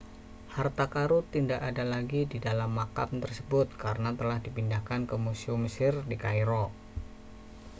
harta karun tidak ada lagi di dalam makam tersebut karena telah dipindahkan ke museum mesir di kairo